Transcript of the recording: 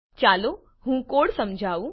ચાલો હું કોડ સમજાવું